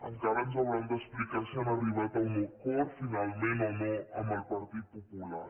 encara ens hauran d’explicar si han arribat a un acord finalment o no amb el partit popular